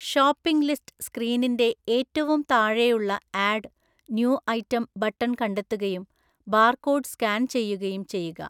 Shopping list സ്ക്രീനിൻ്റെ ഏറ്റവും താഴെയുള്ള ആഡ് ന്യൂ ഐറ്റം ബട്ടൺ കണ്ടെത്തുകയും ബാർകോഡ് സ്കാൻ ചെയ്യുകയും ചെയ്യുക.